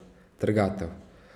Trgatev.